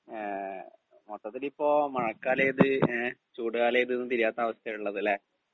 speaker 2 ങേ മൊത്തത്തിലിപ്പോ മഴക്കാലേത് ങേ ചൂടുകാലേത് ന്നു തിരിയാത്ത അവസ്ഥയാണുള്ളത് ലേ